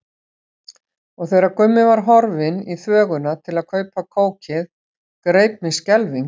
Og þegar Gummi var horfinn í þvöguna til að kaupa kókið greip mig skelfing.